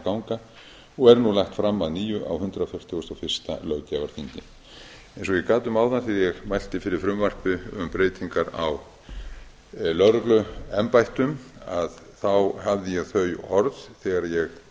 ganga og er nú lagt fram að nýju á hundrað fertugasta og fyrsta löggjafarþingi eins og ég gat um áðan þegar ég mælti fyrir frumvarpi um breytingar á lögregluembættum hafði ég þau orð þegar ég